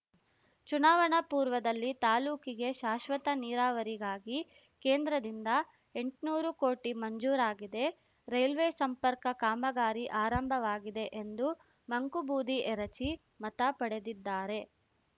ಚುನಾವಣಾ ಪೂರ್ವದಲ್ಲಿ ತಾಲೂಕಿಗೆ ಶಾಶ್ವತ ನೀರಾವರಿಗಾಗಿ ಕೇಂದ್ರದಿಂದ ಎಂಟ್ನೂರು ಕೋಟಿ ಮಂಜೂರಾಗಿದೆ ರೈಲ್ವೆ ಸಂಪರ್ಕ ಕಾಮಗಾರಿ ಆರಂಭವಾಗಿದೆ ಎಂದು ಮಂಕುಬೂದಿ ಎರಚಿ ಮತ ಪಡೆದಿದ್ದಾರೆ